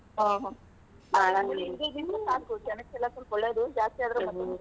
ಹಾ ಜನಕೆಲ್ಲಾ ಸ್ವಲ್ಪ ಒಳ್ಳೆದು ಜಾಸ್ತಿ ಆದ್ರ್ ?